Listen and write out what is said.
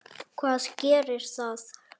Hvað gerir það?